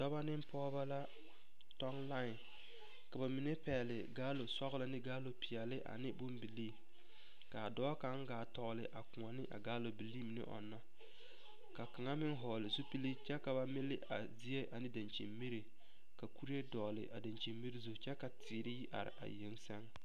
Dɔbɔ ne pɔgeba la tɔŋ lae ka ba mine pɛgle galoŋ sɔgla ne galoŋ peɛle ne bombilii ka a dɔɔ kaŋ gaa tɔgle a kõɔ ne galobilii mine ɔnna ka kaŋa meŋ vɔglel zupili kyɛ ka ba mili a zie ne dakyini miri ka kuree dɔgle a dakyini miri zu kyɛ ka teere yi are a yeŋ sɛŋ.